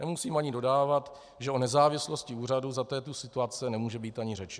Nemusím ani dodávat, že o nezávislosti úřadu za této situace nemůže být ani řeči.